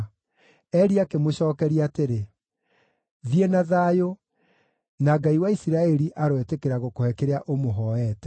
Eli akĩmũcookeria atĩrĩ, “Thiĩ na thayũ, na Ngai wa Isiraeli aroĩtĩkĩra gũkũhe kĩrĩa ũmũhooete.”